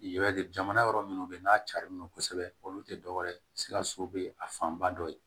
Yɛrɛ jamana wɛrɛ minnu bɛ yen n'a carilen don kosɛbɛ olu tɛ dɔwɛrɛ ye sikaso bɛ a fanba dɔ ye